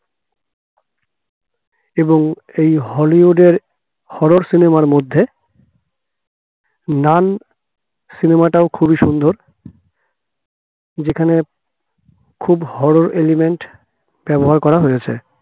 এবং এই হলিউডের horro cinema র মধ্যে নান cinema টাও খুবই সুন্দর যেখানে খুব horror element ব্যবহার করা হয়েছে